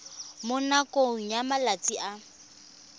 mo nakong ya malatsi a